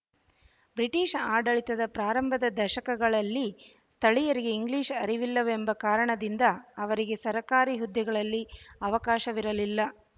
British ಆಡಳಿತದ ಪ್ರಾರಂಭದ ದಶಕಗಳಲ್ಲಿ ಸ್ಥಳೀಯರಿಗೆ ಇಂಗ್ಲೀಷ್ ಅರಿವಿಲ್ಲವೆಂಬ ಕಾರಣದಿಂದ ಅವರಿಗೆ ಸರ್ಕಾರಿ ಹುದ್ದೆಗಳಲ್ಲಿ ಅವಕಾಶವಿರಲಿಲ್ಲ